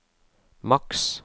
maks